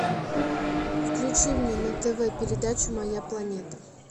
включи мне на тв передачу моя планета